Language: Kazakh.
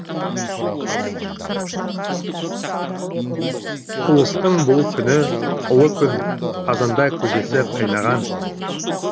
ұлыстың бұл күні ұлы күн қазанда көжесі қайнаған